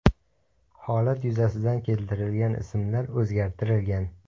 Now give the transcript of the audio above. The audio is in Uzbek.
Holat yuzasidan keltirilgan ismlar o‘zgartirilgan.